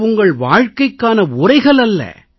இது உங்கள் வாழ்க்கைக்கான உரைகல் அல்ல